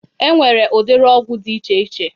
E nwere udiri ọgwụ dị iche iche